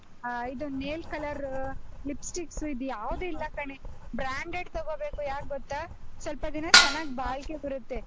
ಆಹ್ ಇದು nail color, lipsticks ಯಾವ್ದೂ ಇಲ್ಲಾ ಕಣೇ, branded ತಗೋಬೇಕು, ಇದು ಯಾಕ್ ಗೊತ್ತಾ? ಸ್ವಲ್ಪ ದಿನ ಚೆನ್ನಾಗ್ ಬರುತ್ತೆ.